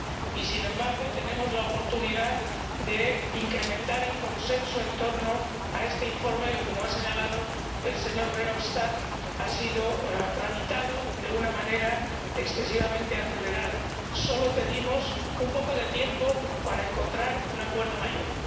Y, sin embargo, tenemos la oportunidad de incrementar el consenso en torno a este informe que, como ha señalado el señor Verhofstadt, ha sido tramitado de una manera excesivamente acelerada. Solo pedimos un poco de tiempo para encontrar un acuerdo mayor.